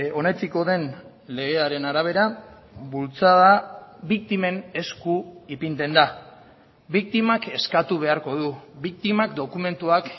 onetsiko den legearen arabera bultzada biktimen esku ipintzen da biktimak eskatu beharko du biktimak dokumentuak